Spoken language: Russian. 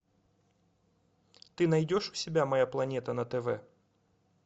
ты найдешь у себя моя планета на тв